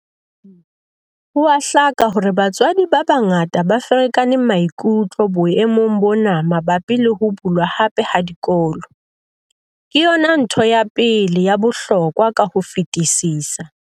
Ho a hlaka hore batswadi ba bangata ba ferekane maikutlo boemong bona mabapi le ho bulwa hape ha dikolo. Ke yona ntho ya pele ya bohlokwa ka ho fetisisa.